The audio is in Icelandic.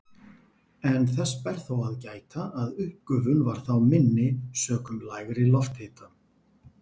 En þess ber þó að gæta að uppgufun var þá minni sökum lægri lofthita.